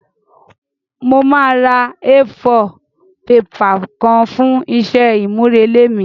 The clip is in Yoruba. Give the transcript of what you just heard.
Mo máa ra A4 paper kan fún isé àmúrelé mí